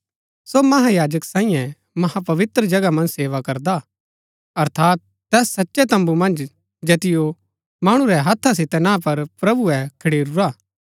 सो महायाजक सांईये महापवित्र जगह मन्ज सेवा करदा हा अर्थात तैस सचै तम्बू मन्ज जैतिओ मणु रै हत्था सितै ना पर प्रभुऐ खडेरूरा हा